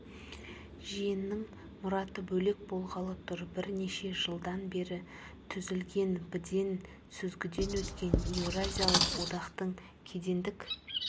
жиынның мұраты бөлек болғалы тұр бірнеше жылдан бері түзілген бден сүзгіден өткен еуразиялық одақтың кедендік